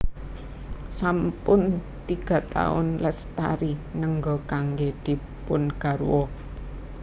Sampun tiga taun Lestari nengga kanggé dipun garwa